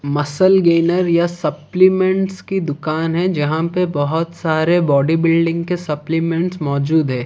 Muscles gainer या supplements की दुकान है जहां पे बहोत सारे बॉडीबिल्डिंग के सप्लीमेंट्स मौजूद है।